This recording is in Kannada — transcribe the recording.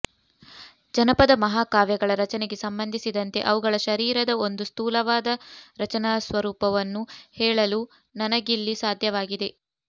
ಜನಪದ ಮಹಾಕಾವ್ಯಗಳ ರಚನೆಗೆ ಸಂಬಂಧಿಸಿದಂತೆ ಅವುಗಳ ಶರೀರದ ಒಂದು ಸ್ಥೂಲವಾದ ರಚನಾಸ್ವರೂಪವನ್ನು ಹೇಳಲು ನನಗಿಲ್ಲಿ ಸಾಧ್ಯವಾಗಿದೆ